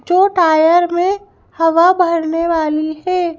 जो टायर में हवा भरने वाली है।